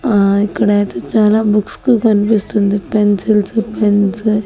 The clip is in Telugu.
ఆ ఇక్కడైతే చాలా బుక్సు కన్పిస్తుంది పెన్సిల్సు పెన్సు --